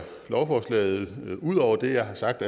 ud over det jeg har sagt